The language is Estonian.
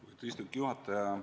Lugupeetud istungi juhataja!